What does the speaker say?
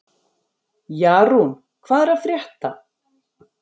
Jarún, hvað er að frétta?